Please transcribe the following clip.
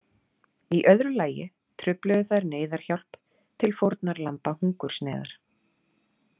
Í öðru lagi trufluðu þær neyðarhjálp til fórnarlamba hungursneyðar.